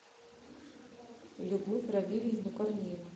любовь равильевну корнееву